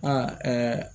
A ɛɛ